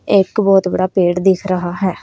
एक बहोत बड़ा पेड़ दिख रहा है।